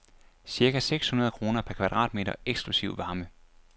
Cirka seks hundrede kroner per kvadratmeter eksklusive varme.